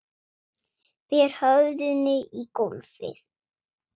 Ber höfðinu í gólfið.